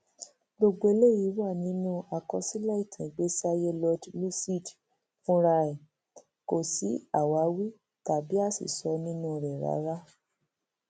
gbogbo eléyìí wà nínú àkọsílẹ ìtàn ìgbésíayé lord lúcid fúnra ẹ kò sí àṣìwí tàbí àṣìsọ nínú rẹ rárá